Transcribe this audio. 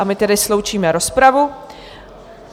A my tedy sloučíme rozpravu.